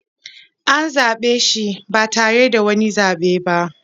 An zaɓe shi ba tare da wani zaɓe ba